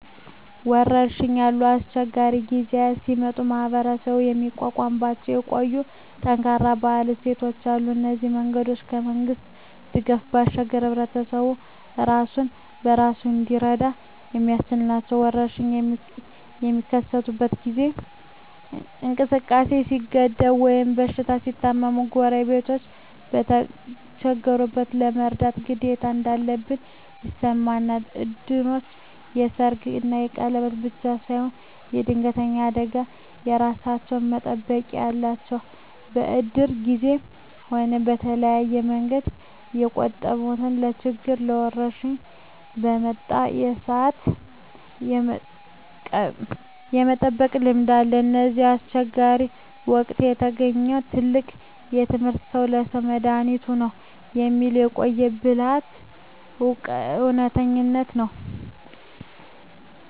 ወረርሽኝ ያሉ አስቸጋሪ ጊዜያት ሲመጡ ማኅበረሰቡ የሚቋቋምባቸው የቆዩና ጠንካራ የባህል እሴቶች አሉ። እነዚህ መንገዶች ከመንግሥት ድጋፍ ባሻገር ሕዝቡ ራሱን በራሱ እንዲረዳ የሚያስችሉ ናቸው። ወረርሽኝ በሚከሰትበት ጊዜ እንቅስቃሴ ሲገደብ ወይም ሰዎች ሲታመሙ፣ ጎረቤቶች የተቸገሩትን የመርዳት ግዴታ እንዳለባቸው ይሰማቸዋል። እድሮች ለሰርግና ለቀብር ብቻ ሳይሆን ለድንገተኛ አደጋዎችም የራሳቸው መጠባበቂያ አላቸው። በእድር ጊዜም ሆነ በተለያየ መንገድ የቆጠቡትን ለችግርና ለወረርሽኝ በመጣ ሰአት የመጠቀም ልምድ አለ። ከእነዚህ አስቸጋሪ ወቅቶች የተገኘው ትልቁ ትምህርት "ሰው ለሰው መድኃኒቱ ነው" የሚለው የቆየ ብልሃት እውነተኝነት ነው።